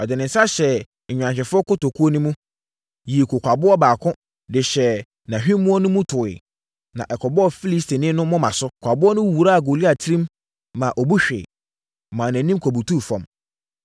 Ɔde ne nsa hyɛɛ nnwanhwɛfoɔ kotokuo no mu, yii kokwaboɔ baako de hyɛɛ nʼahwimmoɔ no mu toeɛ, ma ɛkɔbɔɔ Filistini no moma so. Kokwaboɔ no wuraa Goliat tirim ma ɔbu hweeɛ, maa nʼanim kɔbutuu fam.